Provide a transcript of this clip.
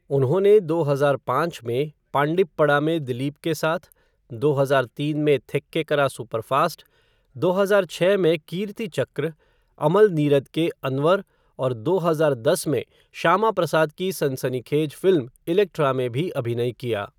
उन्होंने दो हजार पाँच में पांडिप्पडा में दिलीप के साथ, दो हजार तीन में थेक्केकरा सुपरफास्ट, दो हजार छः में कीर्तिचक्र, अमल नीरद के अनवर और दो हजार दस में श्यामाप्रसाद की सनसनीखेज फ़िल्म इलेक्ट्रा में भी अभिनय किया।